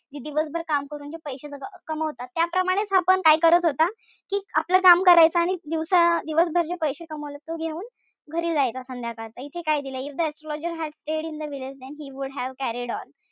कि दिवसभर काम करून जे पैशे कमावतात त्याचप्रमाणे हा पण काय करत होता? कि आपलं काम करायचा आणि दिवसा दिवसभर जे पैशे कमवले ते घेऊन घरी जायचा संध्याकाळी. इथे काय दिलय if the astrologer had stayed in the village then he would have carried on.